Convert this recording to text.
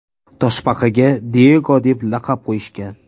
Toshbaqaga Diyego deb laqab qo‘yishgan.